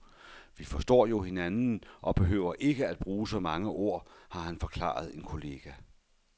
Vi forstår jo hinanden og behøver ikke at bruge så mange ord, har han forklaret en kollega.